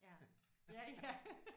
Ja. Ja ja